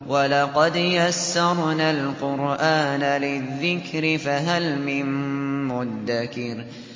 وَلَقَدْ يَسَّرْنَا الْقُرْآنَ لِلذِّكْرِ فَهَلْ مِن مُّدَّكِرٍ